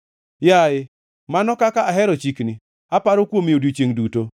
Yaye, mano kaka ahero chikni! Aparo kuome odiechiengʼ duto.